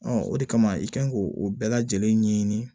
o de kama i kan k'o o bɛɛ lajɛlen ɲɛɲini